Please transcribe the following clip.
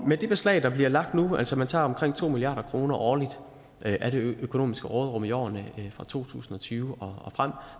med det beslag der bliver lagt nu altså man tager omkring to milliarder kroner årligt af det økonomiske råderum i årene fra to tusind og tyve og frem